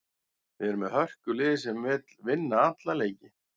Við erum með hörkulið sem vill vinna alla leiki.